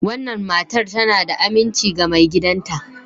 wannan matar tana da aminci ga maigidanta.